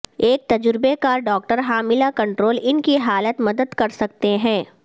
ایک تجربہ کار ڈاکٹر حاملہ کنٹرول ان کی حالت مدد کر سکتے ہیں